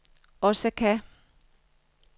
Osaka